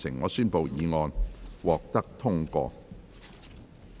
我宣布議案獲得通過。